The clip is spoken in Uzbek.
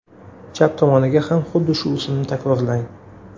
Chap tomoniga ham xuddi shu usulni takrorlang.